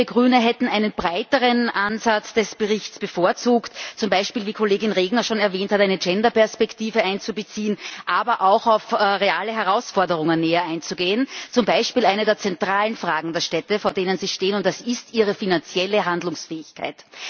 Ich gestehe, wir Grüne hätten einen breiteren Ansatz des Berichts bevorzugt, zum Beispiel, wie Kollegin Regner schon erwähnt hat, eine Genderperspektive einzubeziehen, aber auch auf reale Herausforderungen näher einzugehen zum Beispiel auf eine der zentralen Fragen, vor denen Städte stehen, nämlich ihre finanzielle Handlungsfähigkeit.